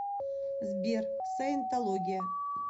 сбер саентология